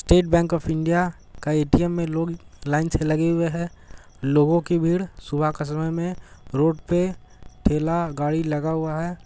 State bank of India के A _T_ M मै लोग लाइन से लगे हुए हैं लोगो के भीड़ सुबह के समय मैं रोड पे ठेला गाड़ी लगा हुआ हैं।